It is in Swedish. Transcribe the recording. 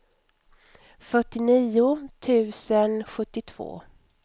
fyrtionio tusen sjuttiotvå